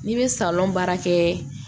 N'i bɛ baara kɛ